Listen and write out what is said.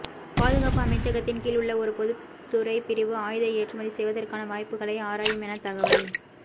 பாதுகாப்பு அமைச்சகத்தின் கீழ் உள்ள ஒரு பொதுத்துறை பிரிவு ஆயுத ஏற்றுமதி செய்வதற்கான வாய்ப்புகளை ஆராயும் என தகவல்